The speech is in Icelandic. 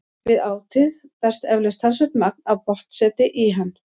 Við átið berst eflaust talsvert magn af botnseti í hann.